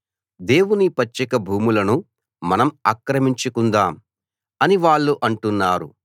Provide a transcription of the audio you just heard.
దేవుని పచ్చిక భూములను మనం ఆక్రమించుకుందాం అని వాళ్ళు అంటున్నారు